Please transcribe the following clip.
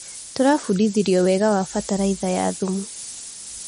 Tũrabundithirio wega wa bataraitha ya thumu.